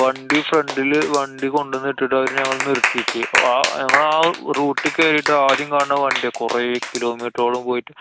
വണ്ടി front ല് വണ്ടി കൊണ്ടന്നു ഇട്ടിട്ടു അവരു ഞങ്ങളെ നിര്‍ത്തിക്ക്. ആഹ് ഞങ്ങളാ route ക്ക് കേറിട്ടു ആദ്യം കാണുന്ന വണ്ട്യാ. കൊറേ kilometer ഓളം പോയിട്ട്.